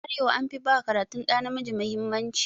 A arewa an fi ba karatun ɗa namiji mahimmanci.